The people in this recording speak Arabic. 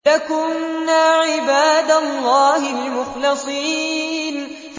لَكُنَّا عِبَادَ اللَّهِ الْمُخْلَصِينَ